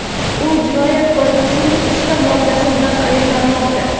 U Jinoyat kodeksining uchta moddasi bilan ayblanmoqda.